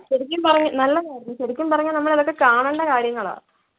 ശരിക്കും പറഞ്ഞാ നല്ലതായിരുന്നു. ശെരിക്കും പറഞ്ഞാൽ നമ്മൾ ഇതൊക്കെ കാണേണ്ട കാര്യങ്ങളാ.